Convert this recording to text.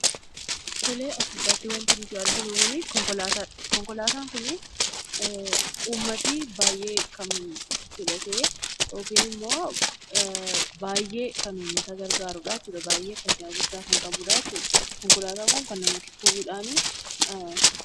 As gubbaatti waanti nuti arginu kunii, konkolaataadha. Konkolaataan Kunii, uummatni baayyee kan filatee yookiin immoo baayyee uummata kan gargaarudha jechuudhaa. Baayyee fayidaa guddaa kan qabudha. Konkolaataan Kun kan namatti toludhaa